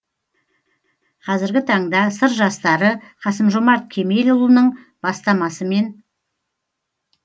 қазіргі таңда сыр жастары қасым жомарт кемелұлының бастамасымен